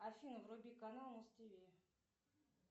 афина вруби канал муз тв